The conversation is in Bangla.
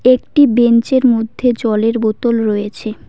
একটি বেঞ্চ -এর মধ্যে জলের বোতল রয়েছে।